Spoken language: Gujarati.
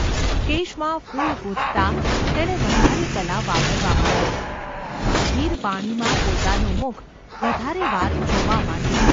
કેશમાં ફૂલ ગૂંથતાં તેણે વધારે કલા વાપરવા માંડી; સ્થિર પાણીમાં પોતાનું મુખ વધારે વાર જોવા માંડ્યું.